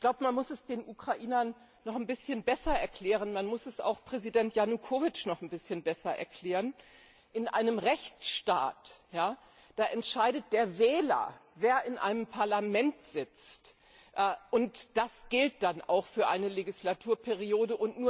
Ich glaube, man muss es den Ukrainern noch ein bisschen besser erklären, man muss es auch Präsident Janukowytsch noch ein bisschen besser erklären In einem Rechtsstaat entscheidet der Wähler, wer in einem Parlament sitzt, und das gilt dann auch für eine Legislaturperiode.